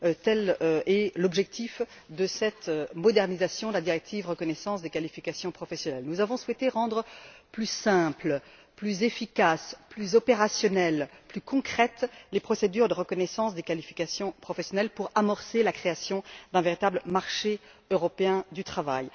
Tel est l'objectif de cette modernisation de la directive sur la reconnaissance des qualifications professionnelles. Nous avons souhaité rendre plus simples, plus efficaces, plus opérationnelles et plus concrètes les procédures de reconnaissance des qualifications professionnelles pour amorcer la création d'un véritable marché européen du travail.